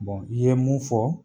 Bon i ye mun fɔ